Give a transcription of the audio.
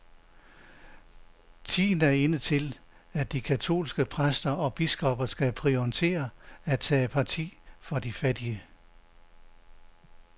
Tiden er inde til, at de katolske præster og biskopper skal prioritere at tage parti for de fattige.